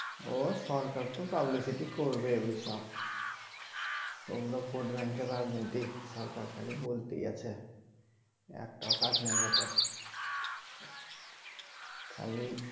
ও সরকার তো publicity করবে ওইসব গুলো vote bank এর রাজনীতি সরকার খালি বলতেই আছে একটাও কাজ নাই বটে খালি